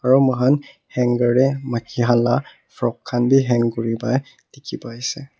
aro mohan hanger tae maki han la frock khan bi hang kuripai dikhipaiase.